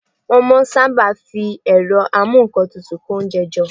Wọ́n máa n sáábà fi ẹ̀rọ amúǹkantutù kó oúnjẹ jọ